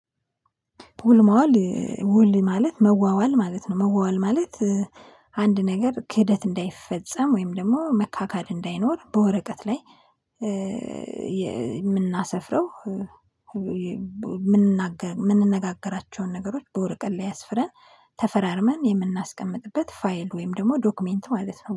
ውል መዋል ውል ማለት መዋዋል ማለት ነው መዋዋል ማለት። አንድ ነገር ክህደት እንዳይፈጸም ወይም ደግሞ መካካድ እንዳይኖር በወረቀት ላይ የምናሰፍረው። የምንናገር ምንነጋገራቸውን ነገሮች በወረቀት ላይ አስፍረን ተፈራርመን የምናስቀምጥበት ፋይል ወይም ደግሞ ዶክመንት ማለት ነው